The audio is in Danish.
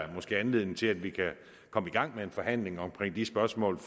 da måske anledning til at vi kan komme i gang med en forhandling omkring de spørgsmål